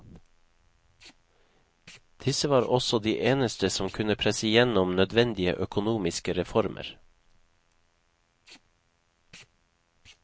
Disse var også de eneste som kunne presse gjennom nødvendige økonomiske reformer.